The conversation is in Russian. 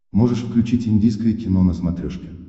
можешь включить индийское кино на смотрешке